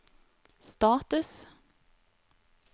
status